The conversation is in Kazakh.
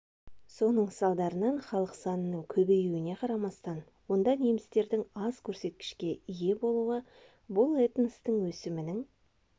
соның салдарынан халық санының көбеюіне қарамастан онда немістердің аз көрсеткішке ие болуы бұл этностың өсімінің